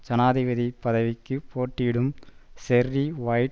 ஜனாதிபதி பதவிக்கு போட்டியிடும் ஜெர்ரி வைட்